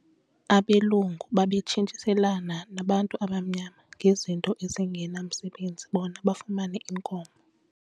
Abelungu babetshintshiselana nabantu abamnyama ngezinto ezingenamsebenzi bona bafumane iinkomo.